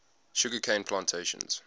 sugar cane plantations